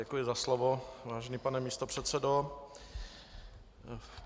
Děkuji za slovo, vážený pane místopředsedo.